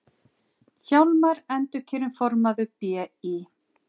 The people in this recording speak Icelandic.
Hjálmar endurkjörinn formaður BÍ